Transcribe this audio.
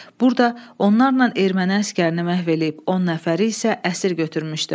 Burda onlarla erməni əsgərini məhv eləyib, 10 nəfəri isə əsir götürmüşdü.